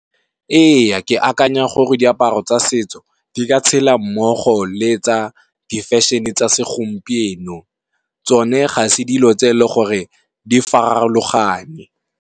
Eya, ke akanya gore diaparo tsa setso di ka tshela mmogo le tsa difashion-e tsa se gompieno. Tsone ga se dilo tse e le gore di farologane.